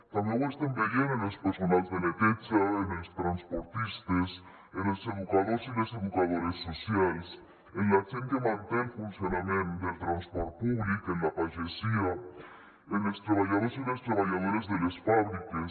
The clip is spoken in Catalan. també ho estem veient en el personal de neteja en els transportistes en els educadors i les educadores socials en la gent que manté el funcionament del transport públic en la pagesia en els treballadors i les treballadores de les fàbriques